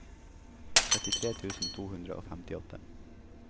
trettitre tusen to hundre og femtiåtte